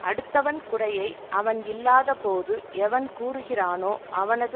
அடுத்தவன் குறையை அவன் இல்லாத போது எவன் கூறுகிறானோ அவனது